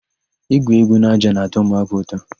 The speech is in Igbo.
Ígwù égwú n'ájá na-atọ ụmụaka ụtọ.